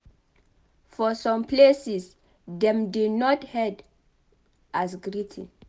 For some places dem dey nod their head as greeting